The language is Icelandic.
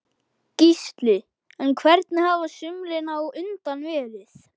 Gísli: En hvernig hafa sumrin á undan verið?